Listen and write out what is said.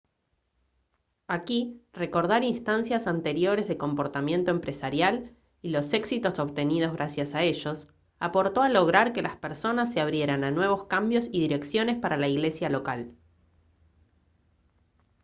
aquí recordar instancias anteriores de comportamiento empresarial y los éxitos obtenidos gracias a ellos aportó a lograr que las personas se abrieran a nuevos cambios y direcciones para la iglesia local